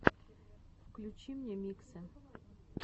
включи мне миксы